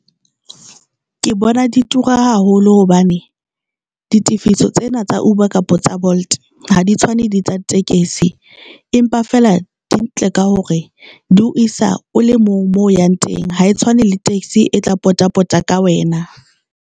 Ke bona di tura haholo hobane ditifiso tsena tsa Uber kapa tsa Bolt ha di tshwane di tsa tekesi empa fela di ntle ka hore di ho isa o le mong mo o yang teng ha e tshwane le taxi e tla pota pota ka wena.